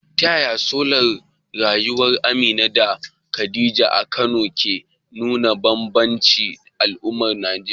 Ta yaya salon rayuwar Amina da Khadija a Kano ke nuna bambancin al'adun Najeriya?